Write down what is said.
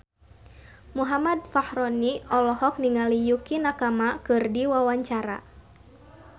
Muhammad Fachroni olohok ningali Yukie Nakama keur diwawancara